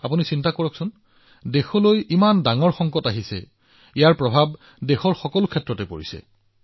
আপুনি ভাবক আমাৰ দেশত ইমান ডাঙৰ সংকট ই দেশৰ প্ৰতিটো ব্যৱস্থাক প্ৰভাৱিত কৰিছে